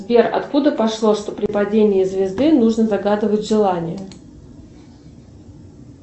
сбер откуда пошло что при падении звезды нужно загадывать желание